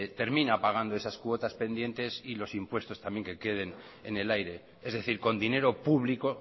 termina pagando esas cuotas pendientes y los impuestos también que queden en el aire es decir con dinero público